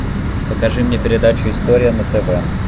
покажи мне передачу история на тв